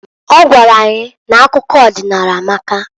Ọ gwalụ anyị n'akụkọ ọdịnaala amaka.